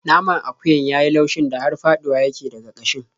Naman akuyar ya yi laushin da har faɗuwa yake daga ƙashin.